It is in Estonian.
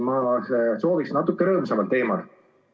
Ma soovin puudutada rõõmsamat teemat.